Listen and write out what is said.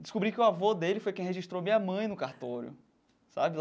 Descobri que o avô dele foi quem registrou minha mãe no cartório sabe.